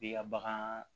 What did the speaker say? I ka bagan